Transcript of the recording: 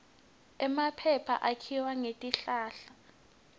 emaphepha akhiwa ngetihlahla